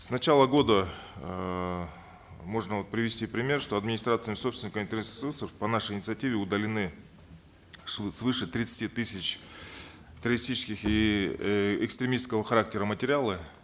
с начала года эээ можно вот привести пример что администраторами собственниками интернет ресурсов по нашей инициативе удалены свыше тридцати тысяч террористических и э экстремистского характера материалы